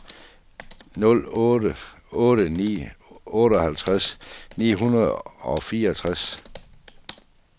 nul otte otte ni otteoghalvtreds ni hundrede og fireogtres